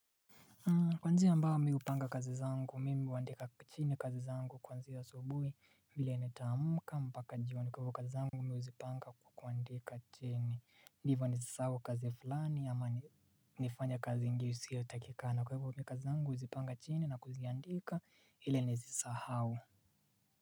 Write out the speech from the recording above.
Kwa njia ambayo mimi hupanga kazi zangu mimi huandika chini kazi zangu kuanzia asubuhi vile nitaamuka mpaka jioni kwa hivyo kazi zangu mimi huzipanga kwa kuandika chini Ndivyo nisisahau kazi fulani ama nifanye kazi ingine isio takikana kwa hivyo mi kazi zangu huzipanga chini na kuziandika ili ni sisahau.